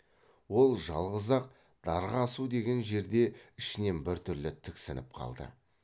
ол жалғыз ақ дарға асу деген жерде ішінен біртүрлі тіксініп қалды